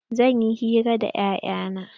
Zanyi hira da 'ya'yan na.